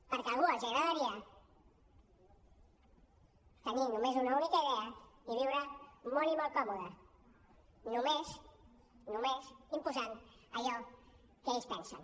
perquè a alguns els agradaria tenir només una única idea i viure molt i molt còmodes només només imposant allò que ells pensen